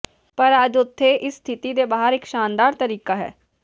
ਪਰ ਅੱਜ ਉਥੇ ਇਸ ਸਥਿਤੀ ਦੇ ਬਾਹਰ ਇੱਕ ਸ਼ਾਨਦਾਰ ਤਰੀਕਾ ਹੈ